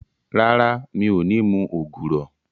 Rárá, mi ò ní mu ògùrọ̀